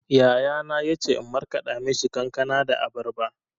Yayana ya ce in markaɗa mishi kankana da abarba.